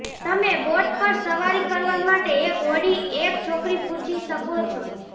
તમે બોટ પર સવારી કરવા માટે એક હોડી એક છોકરી પૂછી શકો છો